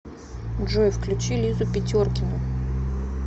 джой включи лизу питеркину